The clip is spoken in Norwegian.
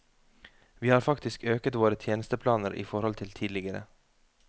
Vi har faktisk øket våre tjenesteplaner i forhold til tidligere.